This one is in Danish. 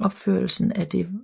Opførelsen af det